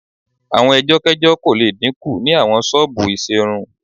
Àwọn ẹjọ́kẹ́jọ́ kò le dínkù ni àwọn ṣọ́ọ̀bù ìṣerun